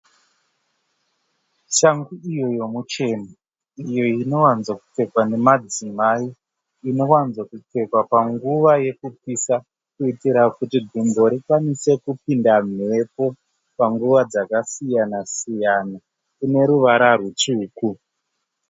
Shangu iyo yemucheno, iyo inowanzakupfekwa nemadzimai. Inowanzakupfekwa panguva yekupisa kuitira kuti gumbo rikwanise kupinda mhepo, panguva dzakasiyana siyana. Ine ruvara rutsvuku.